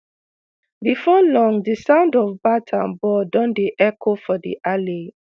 bifor long di sound of bat and ball don dey echo for di alley